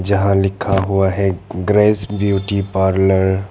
जहां लिखा हुआ है ग्रेस ब्यूटी पार्लर ।